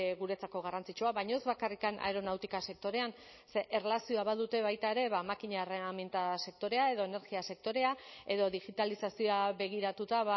guretzako garrantzitsua baina ez bakarrik aeronautika sektorean ze erlazioa badute baita ere makina erreminta sektorea edo energia sektorea edo digitalizazioa begiratuta